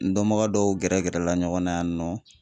N dɔnbaga dɔw gɛrɛ gɛrɛla ɲɔgɔn na yan nɔ